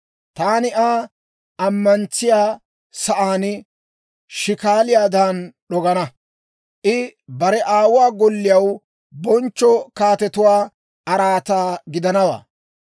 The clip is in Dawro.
Taani Aa ammantsiyaa sa'aan shikaaliyaadan d'ogana; I bare aawuwaa golliyaw bonchcho kaatetuwaa araataa gidanawaa.